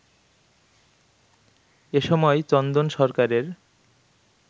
এসময় চন্দন সরকারের